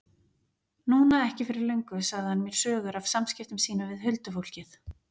Núna ekki fyrir löngu sagði hann mér sögur af samskiptum sínum við huldufólkið.